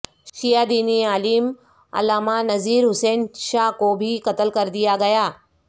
شیعہ دینی عالم علامہ نذیر حسین شاہ کو بھی قتل کردیا گیا